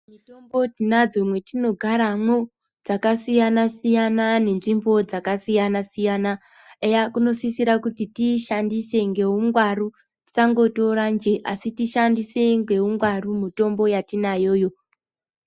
Mitombo tinodzo mwatinogara mwo dzakasiyana siyana nezvimbo dzakasiyana siyana eya kunosisira kuti tiyishandise neungwaru tisangotora njee tiyishandise ngeungwaru mitombo yatinayoyo.